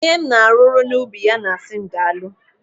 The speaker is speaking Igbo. Onye m na-arụrụ n'ubi ya na-asị m daalụ.